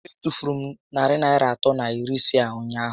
E tufuru m narị atọ na iri ise m ụnyaahụ